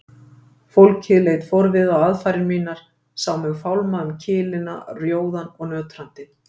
Fólkið leit forviða á aðfarir mínar, sá mig fálma um kilina rjóðan og nötrandi.